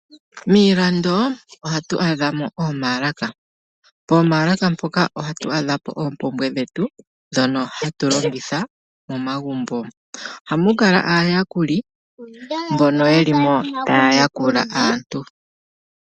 Miilando, ohatu adhamo oomaalaka poomaalaka mpoka ohatu adhapo oompumbwe dhetu, ndhono hatu longitha momagumbo. Ohamu kala aayakuli mbono yelimo taya yakula aantu.